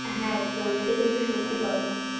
হ্যাঁ একদম এটা কিন্তু সত্যি কথা